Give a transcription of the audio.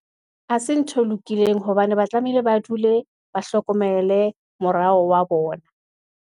Ha se ntho e lokileng, hobane ba tlamehile ba dule ba hlokomele morao wa bona.